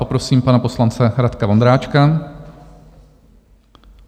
Poprosím pana poslance Radka Vondráčka.